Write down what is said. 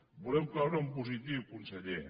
volem cloure en positiu conseller